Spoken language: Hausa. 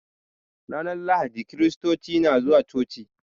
Ranar lahadi kiristoci suna zuwa coci.